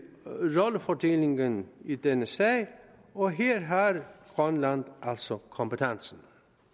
rollefordelingen i denne sag og her har grønland altså kompetencen